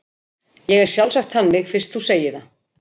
Ég er sjálfsagt þannig fyrst þú segir það.